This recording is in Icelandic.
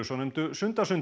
svonefndu